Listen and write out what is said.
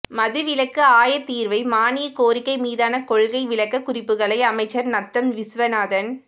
மதுவிலக்கு ஆயத்தீர்வை மானியக் கோரிக்கை மீதான கொள்கை விளக்க குறிப்புகளை அமைச்சர் நத்தம் விசுவநாதன்